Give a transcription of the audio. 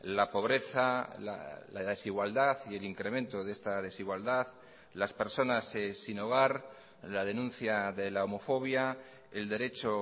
la pobreza la desigualdad y el incremento de esta desigualdad las personas sin hogar la denuncia de la homofobia el derecho